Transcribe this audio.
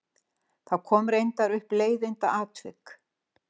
Það kom reyndar upp leiðindaatvik.